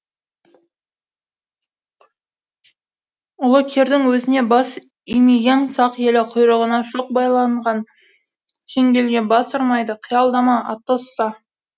ұлы кирдің өзіне бас имеген сақ елі құйрығына шоқ байланған шеңгелге бас ұрмайды қиялдама атосса